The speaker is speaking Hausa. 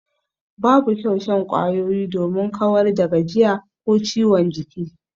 Babu kyau shan kwayoyi domin kawar da gajiya ko ciwon jiki.